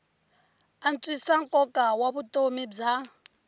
antswisa nkoka wa vutomi bya